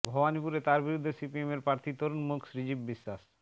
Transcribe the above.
ভবানীপুরে তাঁর বিরুদ্ধে সিপিএমের প্রার্থী তরুণ মুখ শ্রীজীব বিশ্বাস